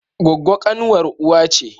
Gwaggwo kanwar uwa ce